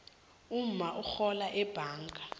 umma urhola ebhanga